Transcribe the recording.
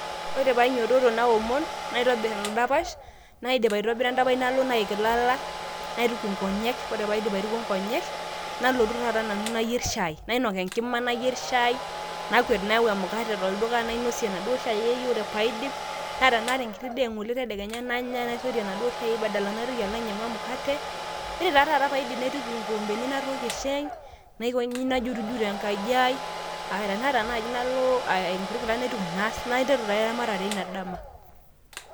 ore pee ainyiototo naomon, naitobir edapash, ore pee aidip naik ilala, naituku nkonyek. ore pee aidip aitukuo nkonyek nalotu taata nanu, nayier shaai, nainok enkima nayier shai, nakwet nayau emukate tolduka, nainosie ena duoo shaai ai, ore pee aidip, naa tenaata enkiti daa eng'ole nanya, nainosie enaduo shai ai badala naitoki, alo ainyiang'u emukate, ore taaduo taata pee aidip naituku inkikompeni, naituku inkikompeni natookie shai, naiteru taa eramatere eina dama.